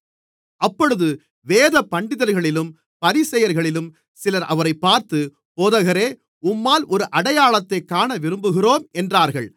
அப்பொழுது வேதபண்டிதர்களிலும் பரிசேயர்களிலும் சிலர் அவரைப் பார்த்து போதகரே உம்மால் ஒரு அடையாளத்தைக் காணவிரும்புகிறோம் என்றார்கள்